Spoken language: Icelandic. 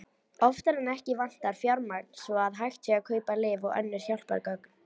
Oftar en ekki vantar fjármagn svo að hægt sé að kaupa lyf og önnur hjálpargögn.